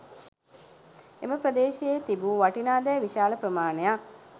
එම ප්‍රදේශයේ තිබූ වටිනා දෑ විශාල ප්‍රමාණයක්